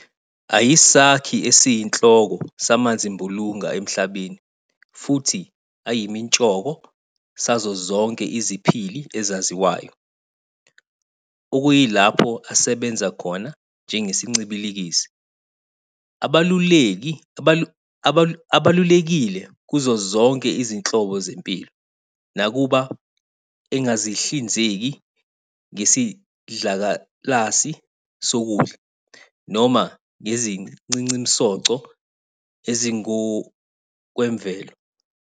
Ayisakhi esiyinhloko samanzimbulunga emhlabeni futhi ayimitshoko sazo zonke iziphili ezaziwayo, okuyilapho asebenza khona njengesincibikilisi. Abalulekile kuzo zonke izinhlobo zempilo, nakuba engazihlinzeki ngeisidlakalasi sokudla, noma ngezincincimsoco ezingokwemvelo.